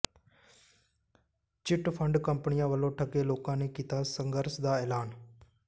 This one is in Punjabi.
ਚਿੱਟ ਫ਼ੰਡ ਕੰਪਨੀਆਂ ਵੱਲੋਂ ਠੱਗੇ ਲੋਕਾਂ ਨੇ ਕੀਤਾ ਸੰਘਰਸ਼ ਦਾ ਐਲਾਨ